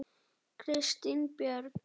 Kristín Björk.